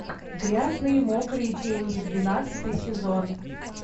грязные мокрые деньги двенадцатый сезон